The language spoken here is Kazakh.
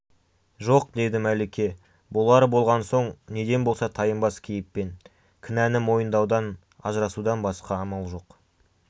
жоқ деді мәлике болары болған соң неден болса тайынбас кейіппен кінәні мойындаудан ажырасудан басқа амал жоқ